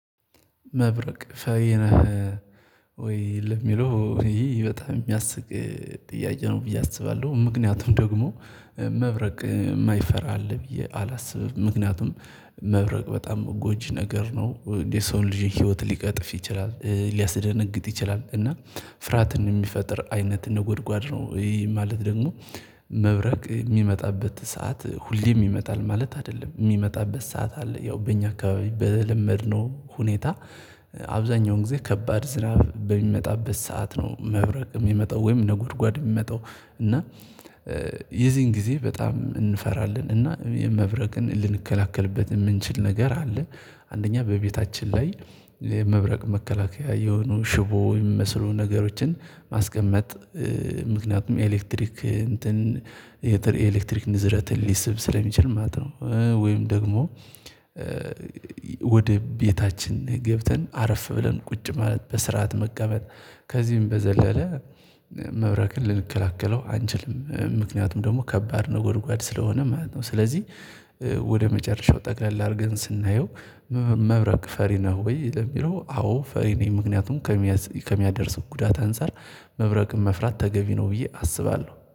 መብረቅ ፈሪ ነህ ወይ ለሚለው ይሄ በጣም የሚያስቅ ጥያቀ ነው ብዬ አስባለሁ። ምክንያቱም ደግሞ መብረቅ የማይፈራ አለ ብዬ አላስብም። ምክንያቱም መብረቅ በጣም ጎጂ ነገር ነው የሰውን ልጅን ህይወት ሊቀጥፍ ይችላል ሊያስደነግጥ ይችላል። እና ፍርሃትን የሚፈጥር አይነት ንጎድጓድ ነው። ይሄ ማለት ደግሞ መብረቅ የሚመጣበት ሰዓት ሁሌም ይመጣል ማለት አይደለም የሚመጣበት ሰዓት አለ። ያው በእኛ አካባቢ በለመድነው ሁኔታ። አብዛኛውን ጊዜ ከባድ ዝናብ በሚመጣበት ሰዓት ነው መብረቅ የሚመጣው ወይም ነጎድጓድ የሚመጣው። እና የዚህን ጊዜ በጣም እንፈራለን እና የመብረቅን ልንከላከልበት የምንችል ነገር አለ። አንደኛ በቤታችን ላይ የመብረቅ መከላከያ የሆኑ ሽቦ የሚመስሉ ነገሮችን ማስቀመጥ ምክንያቱም ኤሌክትሪክ እንትን የኤሌክትሪክ ንዝረትን ሊስብ ስለሚችል ማለት ነው። ወይም ደግሞ ወደ ቤታችን ገብተን አረፍ ብለን ቁጭ ማለት በስርዓት መቀመጥ። ከዚህም በዘለለ መብረቅን ልንከላከለው አንችልም ምክንያቱም ደግሞ ከባድ ነጎድጓድ ስለሆነ ማለት ነው። ስለዚህ ወደ መጨረሻው ጠቅለል አድርገን ስናየው። መብረቅ ፈሪ ነው ወይ ለሚለው? አዎ ፈሪ ነኝ ምክንያቱም ከሚያደርስ ጉዳት አንፃር መብረቅን መፍራት ተገቢ ነው ብዬ አስባለሁ